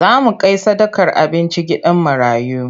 Za mu kai sadakar abinci gidan marayu.